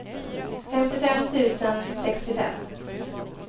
femtiofem tusen sextiofem